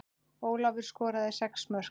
Ólafur skoraði sex mörk.